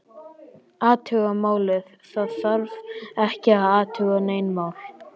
Athuga málið, það þarf ekki að athuga nein mál